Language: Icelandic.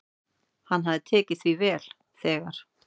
"""Hann hafði tekið því vel, þegar"""